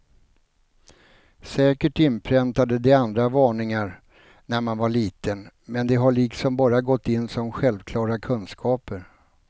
Säkert inpräntade de andra varningar när man var liten, men de har liksom bara gått in som självklara kunskaper.